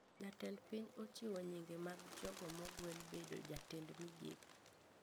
Jatend piny ochiwo nyinge mag jogo mogwel bedo jatend migepe